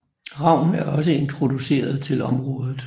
Ravn er også introduceret til området